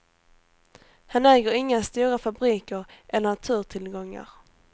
Han äger inga stora fabriker eller naturtillgångar.